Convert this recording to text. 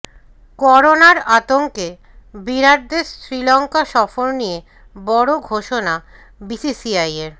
করোনার আতঙ্কে বিরাটদের শ্রীলঙ্কা সফর নিয়ে বড় ঘোষণা বিসিসিআইয়ের